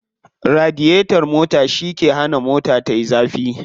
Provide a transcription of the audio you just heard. Radiyetar mota shi ke hana mota tayi zafi.